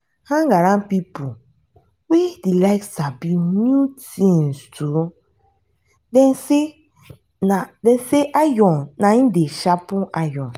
hang around pipo wey dey like sabi new things too dem sey iron na im dey sharpen iron